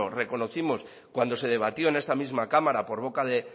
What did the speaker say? reconocimos cuando se debatió en esta misma cámara por boca de